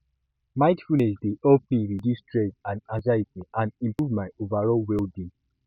mindfulness dey help me reduce stress and anxiety and improve my overall wellbeing